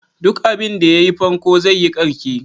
Duk abinda ya yi farko zai yi ƙarke.